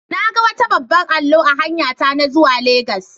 Na ga wata babban allo a hanyata na zuwa legas.